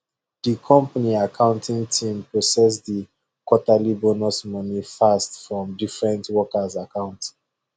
the company accounting team process the quarterly bonus money fast from different workers account